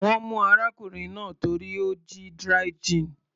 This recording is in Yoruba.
Wọ́n mú arákùnrin náà torí ó jí dry gin.